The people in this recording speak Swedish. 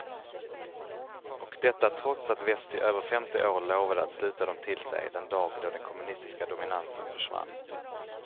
Och detta trots att väst i över femtio år lovade att sluta dem till sig den dag då den kommunistiska dominansen försvann.